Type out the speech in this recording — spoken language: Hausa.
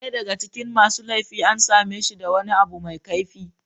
Daya daga cikin laifi an same shi da wani abu mai kaifi.